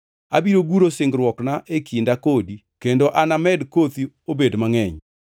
Abiro guro singruokna e kinda kodi kendo anamed kothi obed mangʼeny.”